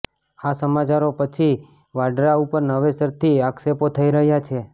આ સમાચારો પછી વાડ્રા ઉપર નવેસરથી આક્ષેપો થઈ રહ્યા છે